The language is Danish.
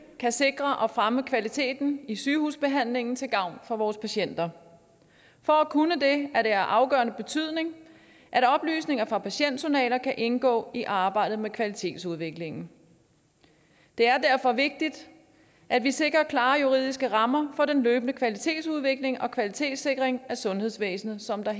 kan sikre og fremme kvaliteten i sygehusbehandlingen til gavn for vores patienter for at kunne det er det af afgørende betydning at oplysninger fra patientjournaler kan indgå i arbejdet med kvalitetsudviklingen det er derfor vigtigt at vi sikrer klare juridiske rammer for den løbende kvalitetsudvikling og kvalitetssikring af sundhedsvæsenet som der